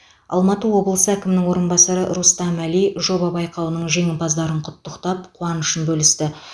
алматы облысы әкімінің орынбасары рустам әли жоба байқауының жеңімпаздарын құттықтап қуанышын бөлісті